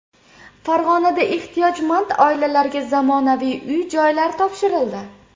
Farg‘onada ehtiyojmand oilalarga zamonaviy uy-joylar topshirildi.